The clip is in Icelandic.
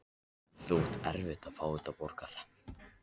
Þú átt eftir að fá þetta borgað!